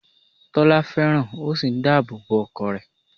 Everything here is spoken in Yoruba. Tọ́lá fẹ́ràn ó sì n dáàbò bo ọkọ rẹ̀